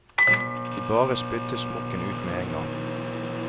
De bare spyttet smokken ut med en gang.